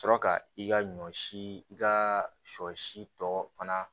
Sɔrɔ ka i ka ɲɔ si i ka sɔ si tɔ fana